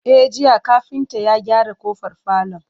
E, jiya kafinta ya gyara ƙofar falon.